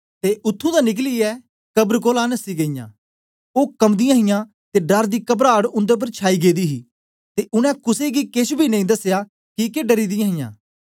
ते उत्त्थुं दा निकलियै कबरां कोलां नसी गेईयां ओ कम्बादियां हां ते डर दी कबराट उन्दे उपर छाई गेदी ही ते उनै कुसे गी केछ बी नेई दसया किके डरी दीहां